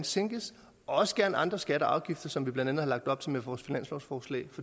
sænkes også gerne andre skatter og afgifter som vi blandt andet har lagt op til med vores finanslovsforslag